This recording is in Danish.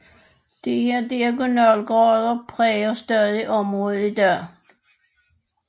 Disse diagonalgader præger stadig området i dag